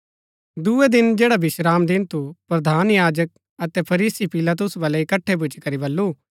दूये दिन जैडा विश्रामदिन थु प्रधान याजका अतै फरीसी पिलातुस बलै इकट्ठै भूच्ची करी बल्लू